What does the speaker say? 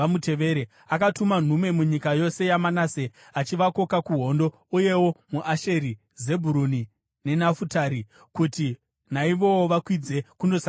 Akatuma nhume munyika yose yaManase, achivakoka kuhondo, uyewo muAsheri, Zebhuruni neNafutari, kuti naivowo vakwidze kundosangana navo.